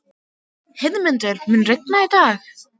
Heiðmundur, mun rigna í dag?